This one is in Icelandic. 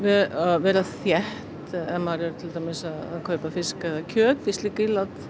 vera þétt ef maður er að kaupa fisk eða kjöt í slík ílát